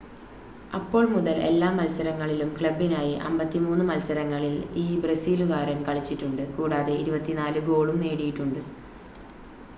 അപ്പോൾ മുതൽ എല്ലാ മത്സരങ്ങളിലും ക്ലബ്ബിനായി 53 മത്സരങ്ങളിൽ ഈ ബ്രസീലുകാരൻ കളിച്ചിട്ടുണ്ട് കൂടാതെ 24 ഗോളും നേടിയിട്ടുണ്ട്